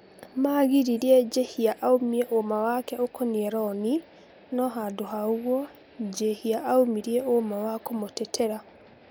Magiririe Njihia aumie ũũma wake ũkoine roni no handũ ha ũguo Njihia aumirie ũûma wa kũmũtetera.